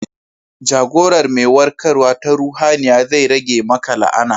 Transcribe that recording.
Jagorar mai warkarwa ta ruhaniya zai rage maka la'ana.